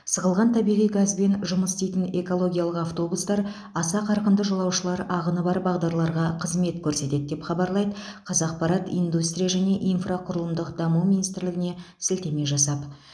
сығылған табиғи газбен жұмыс істейтін экологиялық автобустар аса қарқынды жолаушылар ағыны бар бағдарларға қызмет көрсетеді деп хабарлайды қазақпарат индустрия және инфрақұрылымдық даму министрлігіне сілтеме жасап